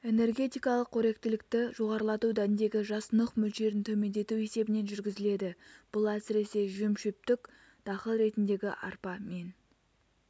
энергетикалық қоректілікті жоғарылату дәндегі жасұнық мөлшерін төмендету есебінен жүргізіледі бұл әсіресе жемшөптік дақыл ретіндегі арпа мен